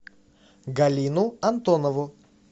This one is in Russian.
галину антонову